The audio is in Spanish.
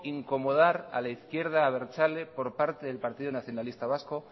incomodar a la izquierda abertzale por parte del partido nacionalista vasco